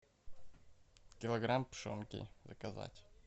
килограмм пшенки заказать